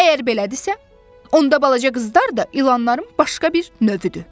Əgər belədirsə, onda balaca qızlar da ilanların başqa bir növüdür.